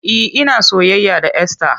E, ina soyayya da Esther.